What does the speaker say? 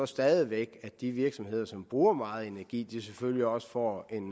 stadig væk at de virksomheder som bruger meget energi selvfølgelig også får en